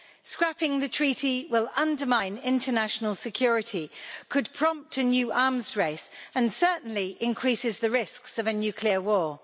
Scrapping the treaty will undermine international security, could prompt a new arms race and certainly increases the risks of a nuclear war.